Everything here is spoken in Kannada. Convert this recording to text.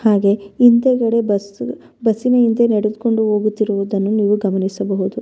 ಹಾಗೆ ಹಿಂದೆಗಡೆ ಬಸ್ಸು ಬಸ್ಸಿನ ಹಿಂದೆ ನೆಡೆದುಕೊಂಡು ಹೋಗುತ್ತಿರುವುದನ್ನು ನೀವು ಗಮನಿಸಬಹುದು.